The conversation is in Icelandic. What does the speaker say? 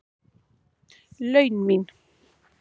laun mín.